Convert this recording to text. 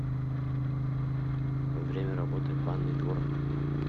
время работы банный двор